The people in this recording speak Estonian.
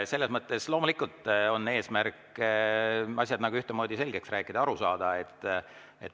Selles mõttes loomulikult on eesmärk asjad ühtemoodi selgeks rääkida, aru saada.